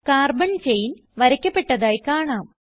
carbon chain വരയ്ക്കപ്പെട്ടതായി കാണാം